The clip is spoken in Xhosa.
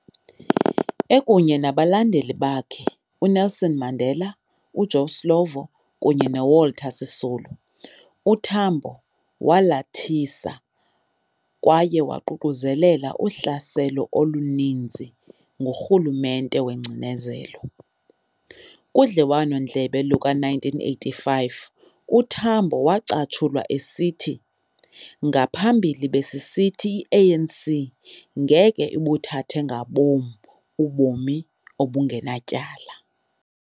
Ekunye nabalingane bakhe uNelson Mandela, uJoe Slovo, kunye noWalter Sisulu, uTambo walathisa kwaye waququzelela uhlaselo oluninzi ngurhulumente wengcinezelo. kudliwanondlebe luka-1985, uTambo wacatshulwa esithi, "Ngaphambili, besisithi i-ANC ngeke buthathe ngabom ubomi obungenatyala.